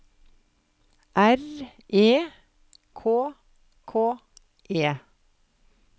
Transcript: R E K K E